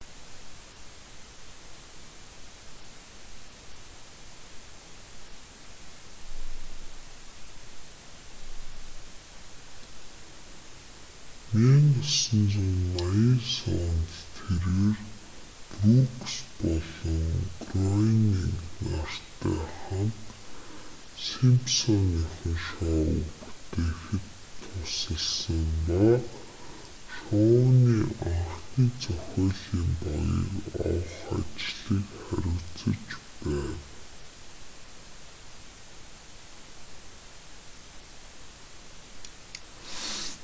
1989 онд тэрээр брүүкс болон гроенинг нартай хамт симпсоныхон шоуг бүтээхэд тусалсан ба шоуны анхны зохиолын багийг авах ажлыг хариуцаж байв